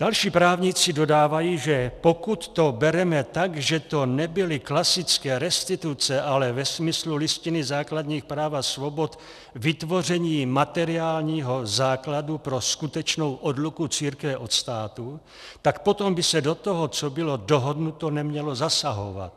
Další právníci dodávají, že pokud to bereme tak, že to nebyly klasické restituce, ale ve smyslu Listiny základních práv a svobod vytvoření materiálního základu pro skutečnou odluku církve od státu, tak potom by se do toho, co bylo dohodnuto, nemělo zasahovat.